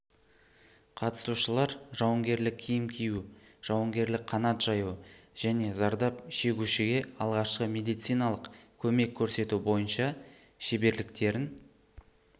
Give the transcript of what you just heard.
қатысушылар жауынгерлік киім кию жауынгерлік қанат жаю және зардап шегушіге алғашқы медициналық көмек көрсету бойынша шеберліктерін